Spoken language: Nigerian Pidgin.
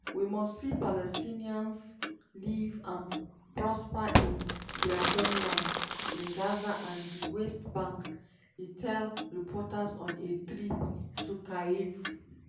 "we must see palestinians live and prosper in dia homelands in gaza and di west bank" e tell reporters on a trip to kyiv.